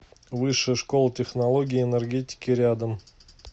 высшая школа технологий и энергетики рядом